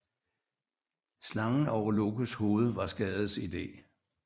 Slangen over Lokes hoved var Skades idé